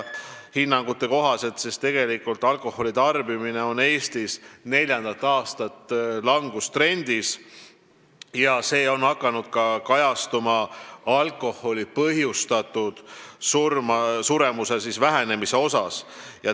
Hinnangute kohaselt on alkoholi tarbimine Eestis neljandat aastat langustrendis, see on hakanud kajastuma ka alkoholi põhjustatud suremuse vähenemises.